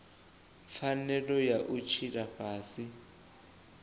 pfanelo ya u tshila fhasi